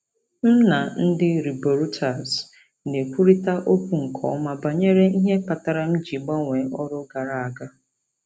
M na ndị riboruiters na-ekwurịta okwu nke ọma banyere ihe kpatara m ji gbanwee ọrụ gara aga.